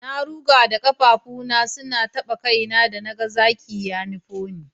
Na ruga da kafafuna suna tana taba kaina da na hango zaki ya nufo ni.